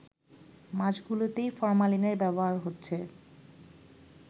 মাছগুলোতেই ফরমালিনের ব্যবহার হচ্ছে